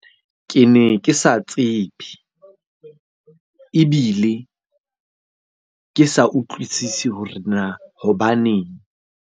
Ke ne ke sa tsebe, ebile ke sa utlwisisi hore na hobaneng?